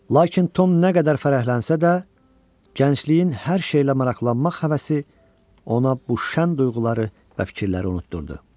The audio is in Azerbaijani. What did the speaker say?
Lakin Tom nə qədər fərəhlənsə də, gəncliyin hər şeylə maraqlanmaq həvəsi ona bu şən duyğuları və fikirləri unutdurdu.